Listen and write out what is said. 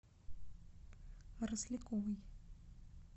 росляковой